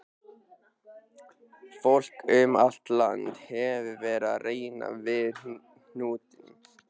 Fólk um allt land hefur verið að reyna við hnútinn.